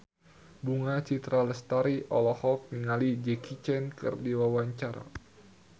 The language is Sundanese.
Bunga Citra Lestari olohok ningali Jackie Chan keur diwawancara